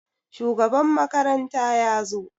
Shugaban makaranta ya zo?